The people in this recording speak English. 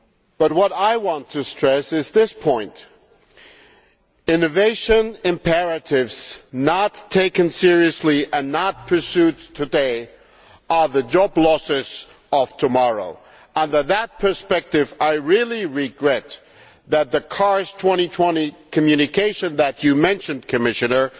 But I want to stress this point innovation imperatives not taken seriously and not pursued today are the job losses of tomorrow. With that in mind, I really regret that the CARS 2020 communication that you mentioned, Commissioner,